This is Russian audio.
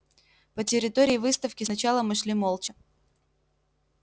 по территории выставки сначала мы шли молча